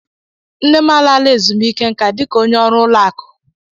Nne m alaala ezumiike nka dika ónyé ọrụ ụlọ akụ.